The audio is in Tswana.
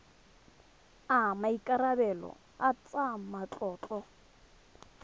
a maikarebelo a tsa matlotlo